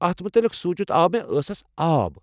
اتھ متعلق سونٛچتھی آو مےٚ ٲسَس آب۔